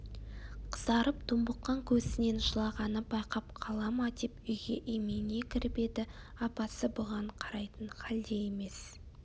қызарып домбыққан көзінен жылағанын байқап қала ма деп үйге имене кіріп еді апасы бұған қарайтын халде емес